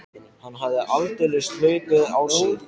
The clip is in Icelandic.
Hann hafði aldeilis hlaupið á sig.